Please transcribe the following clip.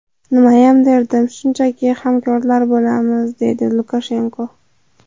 Nimayam derdim, shunchaki hamkorlar bo‘lamiz”, deydi Lukashenko.